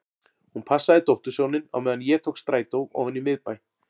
Hún passaði dóttursoninn á meðan ég tók strætó ofan í miðbæ.